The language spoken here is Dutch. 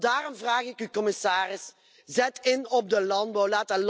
Daarom vraag ik u, commissaris, zet in op de landbouw.